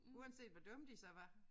Uanset hvor dumme de så var